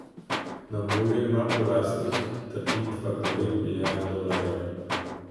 Na voljo ima po lastnih trditvah devet milijard dolarjev.